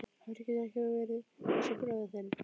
Af hverju geturðu ekki verið eins og bróðir þinn?